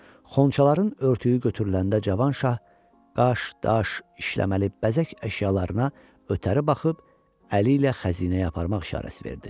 Xonçaların örtüyü götürüləndə Cavan şah qaş, daş işləməli bəzək əşyalarına ötəri baxıb əli ilə xəzinəyə aparmaq işarəsi verdi.